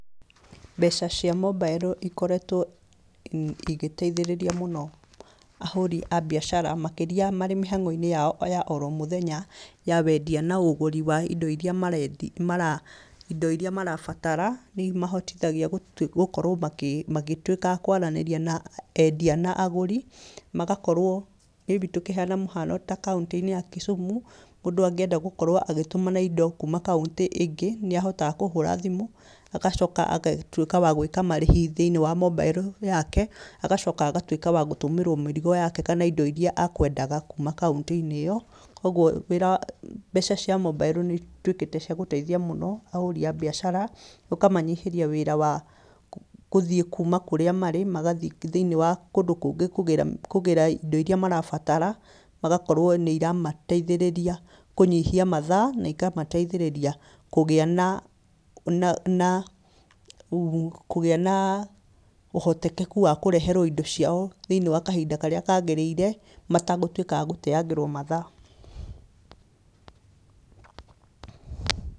Mbeca cia mobairo cikoretwo igĩteithĩrĩria mũno ahũri a biacara makĩrĩa marĩ mĩhago-inĩ yao ya o mũthenya wa wendia na ũgũri wa indo iria marabatara nĩ imahotithagĩa gũkorwo makĩgĩtuĩka a kwaria na endia na agũri, magakorwo may be tũkĩheana kwa mũhiaono ta kaũntĩ-inĩ ya Kisumu mũndũ angienda gũkorwo agĩtũmana indo kaũntĩ ĩngĩ nĩ ahotaga kũhũra agacoka agatuĩka wa gwĩka marĩhi thĩinĩ wa mobairo yake agacaka agatuĩka wa gũtũmĩrwo mĩrigo yake kana agatuĩka wa gũtũmĩrwo indo iria akwendaga kuma kaũntĩ-inĩ ĩno kwoguo mbeca cia mobairo nĩ ituĩkĩte cia gũteithia mũno ahũri a biacara ũkaanyihĩria wĩra wa gũthiĩ kuma kũrĩa marĩ magathiĩ thĩinĩ wa kũndũ kũngĩ kũgĩra indo iria marabatara, magakorwo nĩ iramateothĩrĩria thĩinĩ wa kũnyihia mathaa, na ikamateithĩrĩria kũgĩa na, kũgĩa na ũhotekeku wa kũreherwo indo ciao thĩinĩ wa kahinda karĩa kagĩrĩire maregũtiĩka a gũteangĩrwo mathaa.